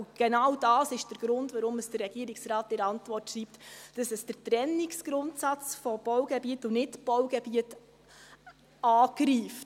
Genau dies ist der Grund, weshalb der Regierungsrat in seiner Antwort schreibt, dass man mit dieser Formulierung den Trennungsgrundsatz von Baugebiet und Nichtbaugebiet angreift.